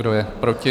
Kdo je proti?